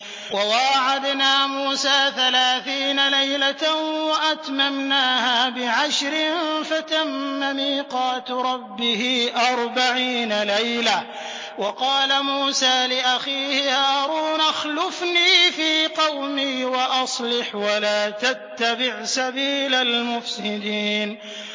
۞ وَوَاعَدْنَا مُوسَىٰ ثَلَاثِينَ لَيْلَةً وَأَتْمَمْنَاهَا بِعَشْرٍ فَتَمَّ مِيقَاتُ رَبِّهِ أَرْبَعِينَ لَيْلَةً ۚ وَقَالَ مُوسَىٰ لِأَخِيهِ هَارُونَ اخْلُفْنِي فِي قَوْمِي وَأَصْلِحْ وَلَا تَتَّبِعْ سَبِيلَ الْمُفْسِدِينَ